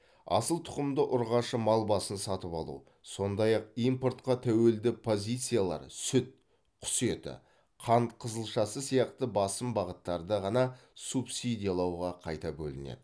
асыл тұқымды ұрғашы мал басын сатып алу сондай ақ импортқа тәуелді позициялар сүт құс еті қант қызылшасы сияқты басым бағыттарды ғана субсидиялауға қайта бөлінеді